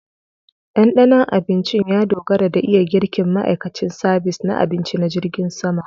Ɗandanon abincin ya dogara da iya girkin ma'aikacin sabis na abinci na jirgin sama